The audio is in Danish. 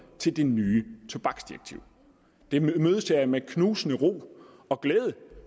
til det nye tobaksdirektiv det imødeser jeg med knusende ro og glæde